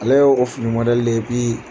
Ala ye o fini ye bi